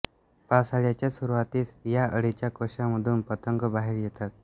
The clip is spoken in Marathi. पावसाळ्याच्या सुरुवातीस या अळीच्या कोषांमधून पतंग बाहेर येतात